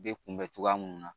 Bɛ kunbɛn cogoya mun na